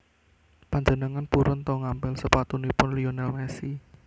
Panjenengan purun to ngampil sepatunipun Lionel Messi